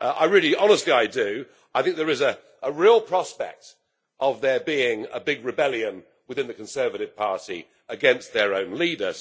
Honestly, I do! I think there is a real prospect of there being a big rebellion within the Conservative Party against their own leader.